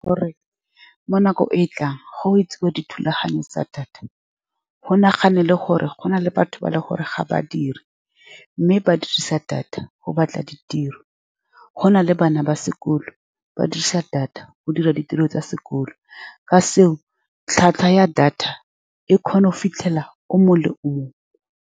Gore mo nakong e e tlang go etsiwa dithulaganyo tsa data, go nagana le gore gona le batho ba e leng gore ga ba diri, mme ba dirisa data go batla ditiro. Go na le bana ba sekolo ba dirisa data go dira ditiro tsa sekolo. Ka seo, tlhwatlhwa ya data e kgona go fitlhelela o mongwe le o mongwe.